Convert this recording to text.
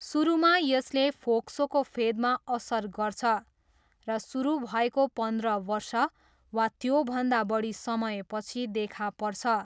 सुरुमा यसले फोक्सोको फेदमा असर गर्छ र सुरु भएको पन्ध्र वर्ष वा त्योभन्दा बढी समयपछि देखा पर्छ।